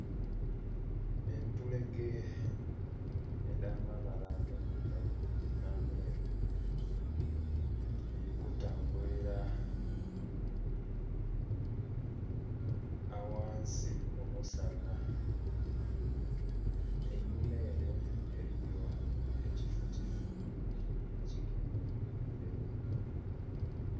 Entulege edh'amabala amairugavu n'ameeru dhiri kutambulira aghansi omusana. Einhuma ere eliyo ekifukifu ekigemye mu bireri